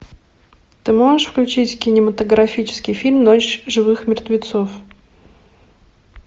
ты можешь включить кинематографический фильм ночь живых мертвецов